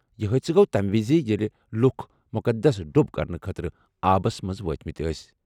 یہِ حٲدثہٕ گوٚو تَمہِ وِزِ ییٚلہِ لُکھ مُقدس ڈوٗب کرنہٕ خٲطرٕ آبس منٛز وٲتمٕتۍ ٲسۍ۔